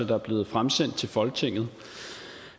der er blevet fremsendt til folketinget